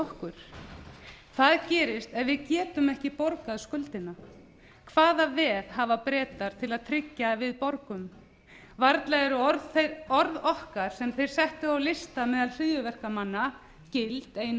okkur hvað gerist ef við getum ekki borgað skuldina hvaða veð hafa bretar til að tryggja að við borgum varla eru orð okkar sem þeir settu á lista meðal hryðjuverkamanna gild ein og